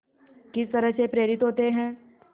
किस तरह से प्रेरित होते हैं